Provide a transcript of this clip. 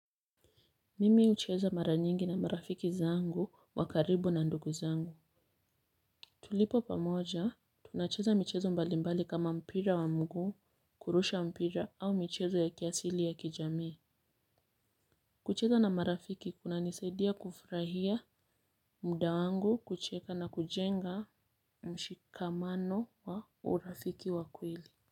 Mimi hucheza mara nyingi na marafiki zangu wa karibu na ndugu zangu. Tulipo pamoja, tunacheza michezo mbalimbali kama mpira wa mguu, kurusha mpira au michezo ya kiasili ya kijamii. Kucheza na marafiki kunanisaidia kufurahia muda wangu, kucheka na kujenga mshikamano wa urafiki wa kweli.